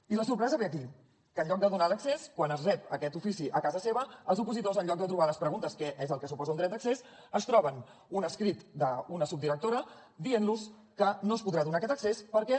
i la sorpresa ve aquí que en lloc de donar l’accés quan reben aquest ofici a casa seva els opositors en lloc de trobar les preguntes que és el que suposa un dret d’accés es troben un escrit d’una subdirectora dient los que no es podrà donar aquest accés perquè